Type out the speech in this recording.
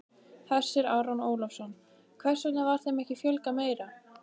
Hersir Aron Ólafsson: Hvers vegna var þeim ekki fjölgað meira?